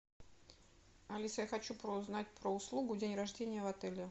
алиса я хочу узнать про услугу день рождения в отеле